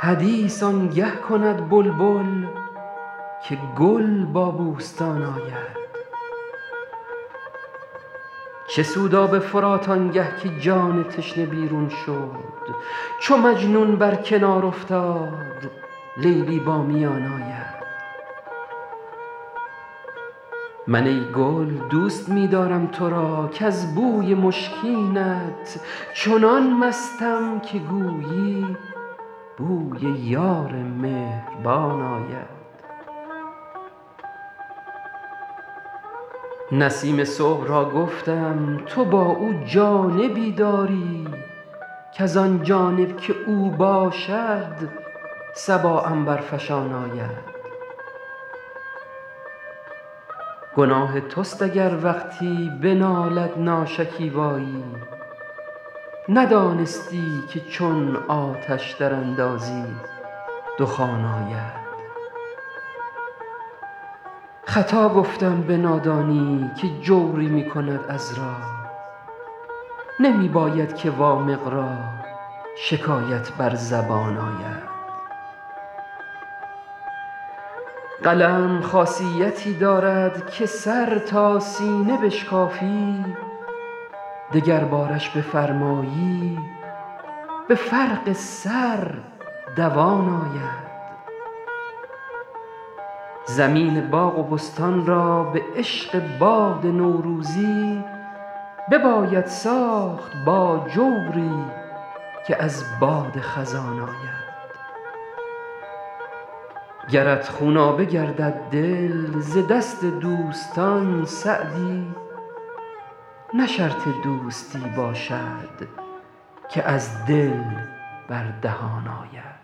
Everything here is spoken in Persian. حدیث آن گه کند بلبل که گل با بوستان آید چه سود آب فرات آن گه که جان تشنه بیرون شد چو مجنون بر کنار افتاد لیلی با میان آید من ای گل دوست می دارم تو را کز بوی مشکینت چنان مستم که گویی بوی یار مهربان آید نسیم صبح را گفتم تو با او جانبی داری کز آن جانب که او باشد صبا عنبرفشان آید گناه توست اگر وقتی بنالد ناشکیبایی ندانستی که چون آتش دراندازی دخان آید خطا گفتم به نادانی که جوری می کند عذرا نمی باید که وامق را شکایت بر زبان آید قلم خاصیتی دارد که سر تا سینه بشکافی دگربارش بفرمایی به فرق سر دوان آید زمین باغ و بستان را به عشق باد نوروزی بباید ساخت با جوری که از باد خزان آید گرت خونابه گردد دل ز دست دوستان سعدی نه شرط دوستی باشد که از دل بر دهان آید